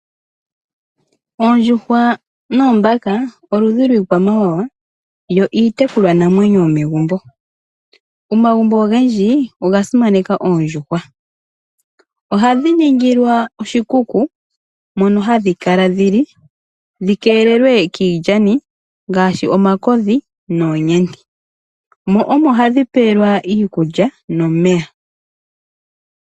Oondjuhwa noombaka oludhi lwiikwamawawa yo iitekulwanamwenyo yomegumbo. Omagumbo ogendji oga simaneka oondjuhwa. Ohadhi ningilwa oshikuku mono hadhi kala dhili, dhi keelelwe kiilyani ngaashi omakodhi noonyenti. Mo omo hadhi pelwa iikulya nomeya.